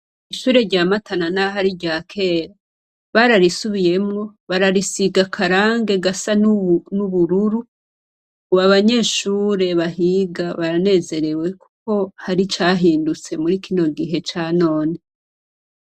Ishure rya Matana naho ari iryakera bararisubiyemwo bararisiga akarangi gasa n'ubururu. Ubu abanyeshure bahiga baranezerewe kuko hari icahindutse muri kino gihe ca none.